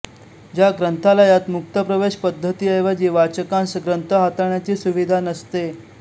ज्या ग्रंथालयात मुक्त प्रवेश पद्धतीऐवजी वाचकांस ग्रंथ हाताळण्याची सुविधा नसते